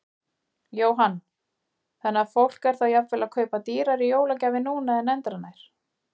Jóhann: Þannig að fólk er þá jafnvel að kaupa dýrari jólagjafir núna en endranær?